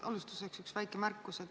Alustuseks üks väike märkus.